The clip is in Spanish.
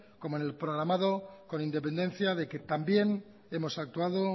como en el programado con independencia de que también hemos actuado